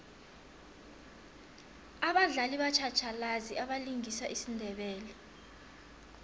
abadlali batjhatjhalazi abalingisa isindebele